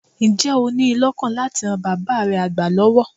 Ǹjẹ́ o ní lọ́kàn láti ran bàab́ re àgbà lọ́wọ́?